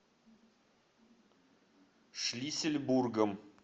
шлиссельбургом